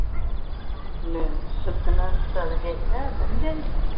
ਲੈ ਸਦਨ ਨਾਲ ਕੋਈ ਉੱਦਾਂ ਨਹੀਂ ਜਾਈਦਾ